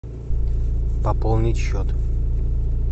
пополнить счет